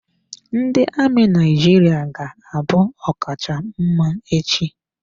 Ndị amị Naijiria ga-abụ ọkacha mma echi.